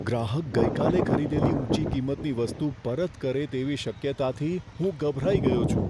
ગ્રાહક ગઈકાલે ખરીદેલી ઊંચી કિંમતની વસ્તુ પરત કરે તેવી શક્યતાથી હું ગભરાઈ ગયો છું.